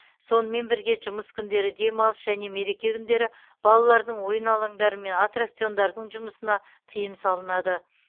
сонымен бірге жұмыс күндері демалыс және мереке күндері балалардың ойын алаңдары мен аттракциондардың жұмысына тыйым салынады